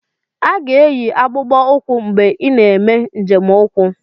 A ga-eyi akpụkpọ ụkwụ mgbe ị na-eme njem ukwu.